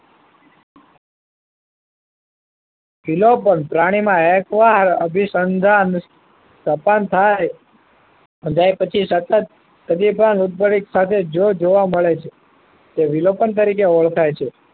જુના પણ પ્રાણી માં અભિસંધાન તપન થાય અને પછી સતત ઉદ્ભવન સાથે જો જોવા મળે તો વિલોપન તરીકે ઓળખાય છે